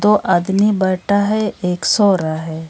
दो आदमी बैठा है एक सो रहा है।